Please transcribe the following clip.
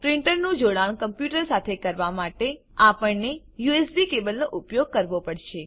પ્રીંટરનું જોડાણ કમ્પ્યુટર સાથે કરવા માટે આપણને યુએસબી કેબલનો ઉપયોગ કરવો પડશે